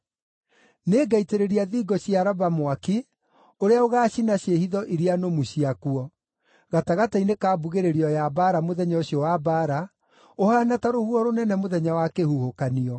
Nĩngaitĩrĩria thingo cia Raba mwaki ũrĩa ũgaacina ciĩhitho iria nũmu ciakuo, gatagatĩ-inĩ ka mbugĩrĩrio ya mbaara mũthenya ũcio wa mbaara, ũhaana ta rũhuho rũnene mũthenya wa kĩhuhũkanio.